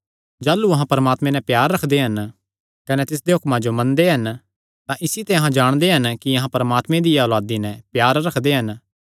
जाह़लू अहां परमात्मे नैं प्यार रखदे हन कने तिसदे हुक्मां जो मनदे हन तां इसी ते अहां जाणदे हन कि अहां परमात्मे दियां औलांदी नैं प्यार रखदे हन